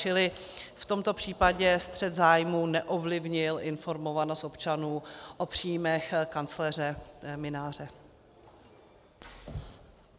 Čili v tomto případě střet zájmů neovlivnil informovanost občanů o příjmech kancléře Mynáře.